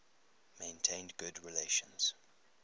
maintained good relations